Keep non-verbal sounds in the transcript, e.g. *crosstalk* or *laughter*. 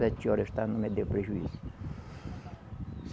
Sete horas, *unintelligible* não me deu prejuízo.